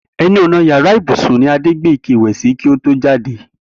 E̩nu ò̩nà yàrá ibùsùn ni Adé gbé ike ìwè̩ sí kí ó tó jáde